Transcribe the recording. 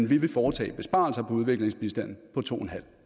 vi vil foretage besparelser på udviklingsbistanden på to